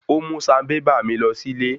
Ó mú sanbébà mi lọ sílé.